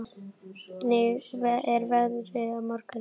Bjargar, hvernig er veðrið á morgun?